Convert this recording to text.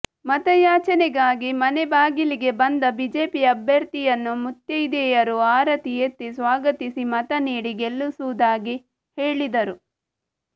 ಮತಯಾಚನೆಗಾಗಿ ಮನೆ ಬಾಗಿಲಿಗೆ ಬಂದ ಬಿಜೆಪಿ ಅಭ್ಯರ್ಥಿಯನ್ನು ಮುತ್ತೈದೆಯರು ಆರತಿ ಎತ್ತಿ ಸ್ವಾಗತಿಸಿ ಮತನೀಡಿ ಗೆಲ್ಲಿಸುವುದಾಗಿ ಹೇಳಿದರು